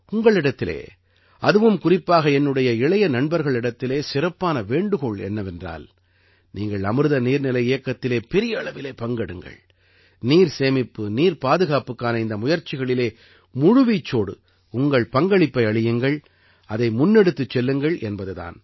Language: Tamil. உங்களிடத்திலே அதுவும் குறிப்பாக என்னுடைய இளைய நண்பர்களிடத்திலே சிறப்பான வேண்டுகோள் என்னவென்றால் நீங்கள் அமிர்த நீர்நிலை இயக்கத்திலே பெரிய அளவிலே பங்கெடுங்கள் நீர் சேமிப்பு நீர்ப் பாதுகாப்புக்கான இந்த முயற்சிகளிலே முழுவீச்சோடு உங்கள் பங்களிப்பை அளியுங்கள் அதை முன்னெடுத்துச் செல்லுங்கள் என்பது தான்